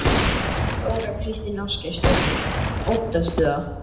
Þóra Kristín Ásgeirsdóttir: Óttastu það?